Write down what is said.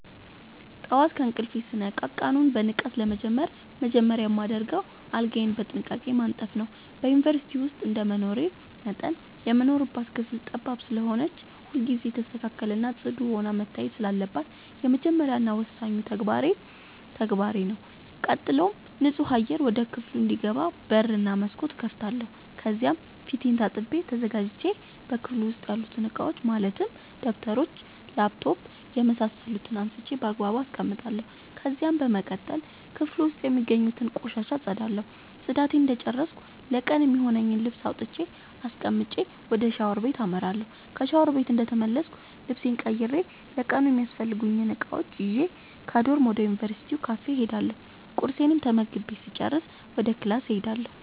ጠዋት ከእንቅልፌ ስነቃ ቀኑን በንቃት ለመጀመር መጀመሪያ የማደርገው አልጋዬን በጥንቃቄ ማንጠፍ ነዉ። በዩንቨርስቲ ዉስጥ እንደመኖሬ መጠን የምንኖርባት ክፍል ጠባብ ስለሆነች ሁልጊዜ የተስተካከለ እና ፅዱ ሆና መታየት ስላለባት የመጀመሪያ እና ወሳኙ ተግባሬ ተግባሬ ነዉ። ቀጥሎም ንፁህ አየር ወደ ክፍሉ እንዲገባ በር እና መስኮት እከፍታለሁ ከዚያም ፊቴን ታጥቤ ተዘጋጅቼ በክፍሉ ዉስጥ ያሉትን እቃዎች ማለትም ደብተሮች: ላፕቶፕ የምሳሰሉትን አንስቼ ባግባቡ አስቀምጣለሁ። ከዚያም በመቀጠል ክፍሉ ዉስጥ የሚገኙትን ቆሻሻ አፀዳለሁ ፅዳቴን እንደጨረስኩ ለቀኑ የሚሆነኝን ልብስ አውጥቼ አስቀምጬ ወደ ሻወር ቤት አመራለሁ። ከሻወር ቤት እንደተመለስኩ ልብሴን ቀይሬ ለቀኑ የሚያስፈልጉኝን እቃዎች ይዤ ከዶርም ወደ ዩንቨርስቲው ካፌ እሄዳለሁ ቁርሴን ተመግቤ ስጨርስ ወደ ክላስ እሄዳለሁ።